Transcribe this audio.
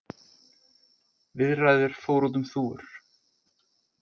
Viðræður fóru út um þúfur